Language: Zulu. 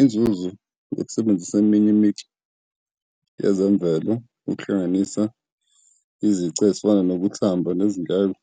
Inzuzo yokusebenzisa eminye imicu yezemvelo, okuhlanganisa izici ezifana nokuthamba nezindleko ,